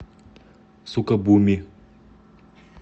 сукабуми